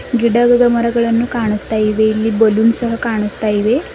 ಗಿಡಗ್ಗದ ಮರಗಳನ್ನು ಕಾಣಸ್ತಾ ಇದೆ ಇಲ್ಲಿ ಬಲ್ಲೂನ್ಸ್ ಸಹ ಕಾಣಸ್ತಾ ಇವೆ.